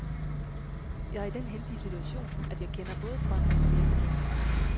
Jeg er i den heldige situation, at jeg kender både drømmen og virkeligheden.